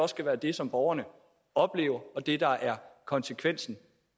skal være det som borgerne oplever og det der er konsekvensen